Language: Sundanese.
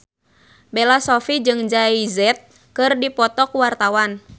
Bella Shofie jeung Jay Z keur dipoto ku wartawan